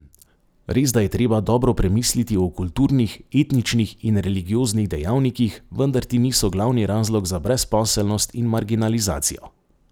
Resda je treba dobro premisliti o kulturnih, etničnih in religioznih dejavnikih, vendar ti niso glavni razlog za brezposelnost in marginalizacijo.